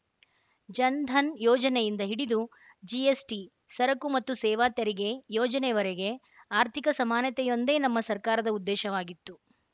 ಜನ್‌ಧನ್‌ ಯೋಜನೆಯಿಂದ ಹಿಡಿದು ಜಿಎಸ್‌ಟಿ ಸರಕು ಮತ್ತು ಸೇವಾ ತೆರಿಗೆ ಯೋಜನೆಯವರೆಗೆ ಆರ್ಥಿಕ ಸಮಾನತೆಯೊಂದೇ ನಮ್ಮ ಸರ್ಕಾರದ ಉದ್ದೇಶವಾಗಿತ್ತು